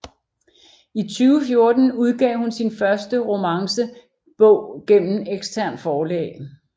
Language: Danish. I 2014 udgav hun sin første romance bog gennem eksternt forlag